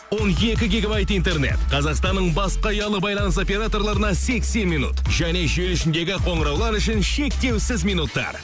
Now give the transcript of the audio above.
он екі гигабайт интернет қазақстанның басқа ұялы байланыс операторларына сексен минут және желі ішіндегі қоңыраулар үшін шектеусіз минуттар